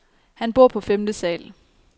Han bor på femte sal.